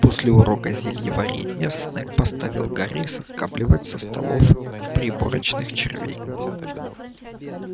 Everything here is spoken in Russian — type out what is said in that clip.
после урока зельеварения снегг поставил гарри соскабливать со столов приборочных червей